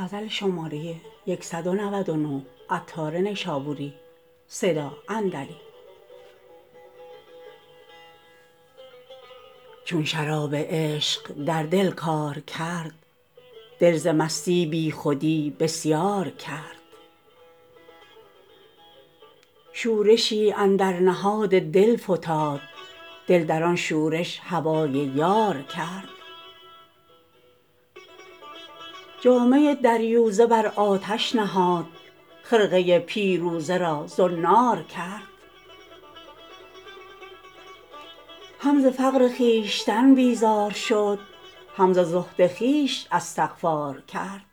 چون شراب عشق در دل کار کرد دل ز مستی بیخودی بسیار کرد شورشی اندر نهاد دل فتاد دل در آن شورش هوای یار کرد جامه دریوزه بر آتش نهاد خرقه پیروزه را زنار کرد هم ز فقر خویشتن بیزار شد هم ز زهد خویش استغفار کرد